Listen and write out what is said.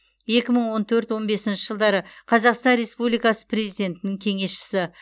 екі мың он төрт он бесінші жылдары қазақстан республикасы президентінің кеңесшісі